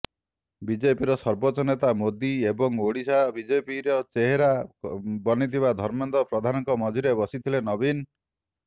ବିଜେପିର ସର୍ବୋଚ୍ଚ ନେତା ମୋଦୀ ଏବଂ ଓଡ଼ିଶା ବିଜେପିର ଚେହେରା ବନିଥିବା ଧର୍ମେନ୍ଦ୍ର ପ୍ରଧାନଙ୍କ ମଝିରେ ବସିଥିଲେ ନବୀନ